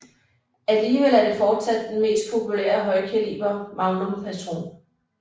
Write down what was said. Alligevel er det fortsat den mest populære højkaliber magnum patron